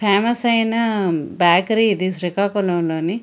Famous అయిన bakery ఇది శ్రీకాకుళంలోని.